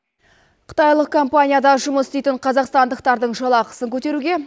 қытайлық компанияда жұмыс істейтін қазақстандықтардың жалақысын көтеруге